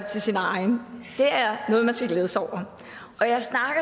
til sin egen det er noget man skal glæde sig over og jeg snakker